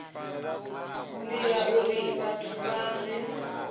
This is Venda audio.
divha uri vhathu vha re